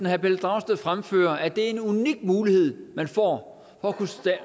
herre pelle dragsted fremfører at det er en unik mulighed man får for